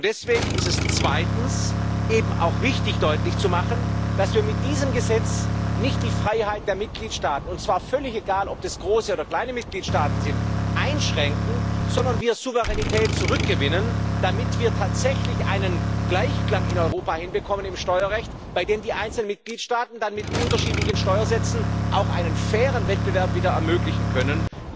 Deswegen ist es zweitens eben auch wichtig, deutlich zu machen, dass wir mit diesem Gesetz nicht die Freiheit der Mitgliedstaaten und zwar völlig egal, ob das große oder kleine Mitgliedstaaten sind einschränken, sondern dass wir Souveränität zurückgewinnen, damit wir tatsächlich einen Gleichklang in Europa hinbekommen im Steuerrecht, bei dem die einzelnen Mitgliedstaaten dann mit unterschiedlichen Steuersätzen auch wieder einen fairen Wettbewerb ermöglichen können.